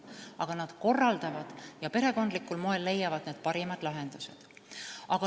Aga tuleb asju korraldada ja leida perekondlikul moel parimad lahendused.